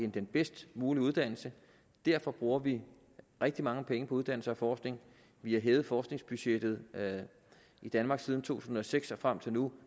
den bedst mulige uddannelse derfor bruger vi rigtig mange penge på uddannelse og forskning vi har hævet forskningsbudgettet i danmark siden to tusind og seks og frem til nu